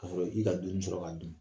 K'a sɔrɔ i ka dumini sɔrɔ k'a dun.